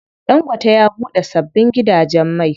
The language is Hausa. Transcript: Ɗangote ya buɗe sabbin gidajen mai.